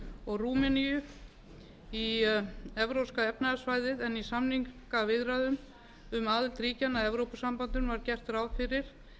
og rúmeníu í evrópska efnahagssvæðið en í samningaviðræðum um aðild ríkjanna að evrópusambandinu var gert ráð fyrir